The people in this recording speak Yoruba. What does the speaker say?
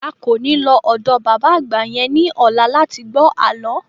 A kò ní lọ ọ̀dọ bàbá àgbà yẹn ní ọ̀la láti gbọ́ àlọ́